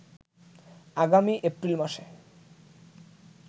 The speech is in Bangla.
আগামী এপ্রিল মাসে